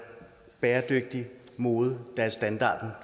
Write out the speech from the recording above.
bæredygtig mode der er standarden